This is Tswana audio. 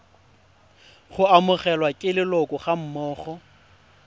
go amogelwa ke leloko gammogo